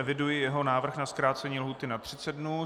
Eviduji jeho návrh na zkrácení lhůty na 30 dnů.